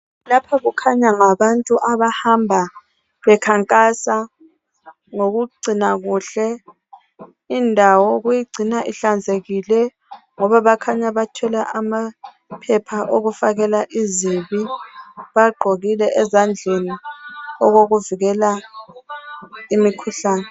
Lapha kukhanya ngabantu abahamba bekhankasa, ngokugcina kuhle indawo. Ukuyigcina ihlanzekile, ngoba bakhanya bathwele amaphepha okufakela izibi. Bagqokile ezandleni. Bagqoke okokuvikela imikhuhlane,